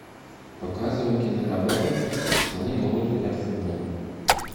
показывай киноработу слоны могут играть в футбол